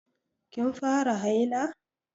Kin fara haila?